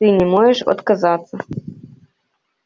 ты не можешь отказаться